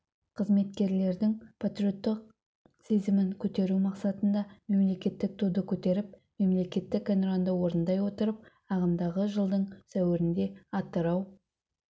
қызметкерлердің патриоттық сезімін көтеру мақсатында мемлекеттік туды көтеріп мемлекеттік әнұранды орындай отырып ағымдағы жылдың сәуірінде атырау